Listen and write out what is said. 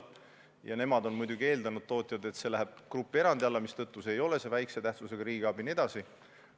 Tootjad on muidugi eeldanud, et see läheb grupierandi alla, mistõttu ei ole tegemist vähese tähtsusega riigiabiga jne.